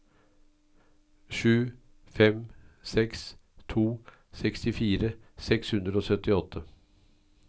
sju fem seks to sekstifire seks hundre og syttiåtte